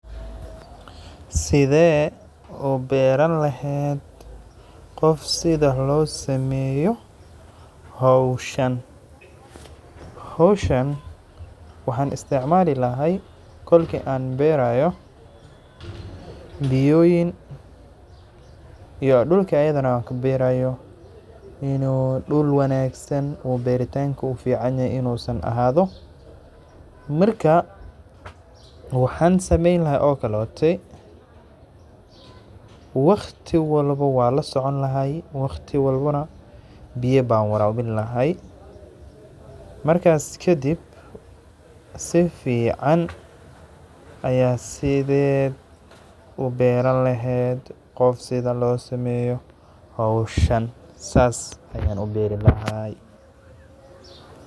Sidhe u baari lahed qof sida howshan loo sameyo ,howshan waxan isticmali lahay kolka an berayo ,biyoyin iyo dhulka an kaberayo inu dhul fican ahado. Marka waxan sameyn laha okaleto waqti walbo waan lasoconi laha ,waqti walbana biyo ban warabini laha ,markas kabacdi si fican sided u baaran laheyd qof sidha losameyo howshan, sas ayan u bari lahay.